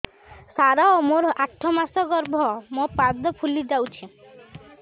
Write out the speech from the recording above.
ସାର ମୋର ଆଠ ମାସ ଗର୍ଭ ମୋ ପାଦ ଫୁଲିଯାଉଛି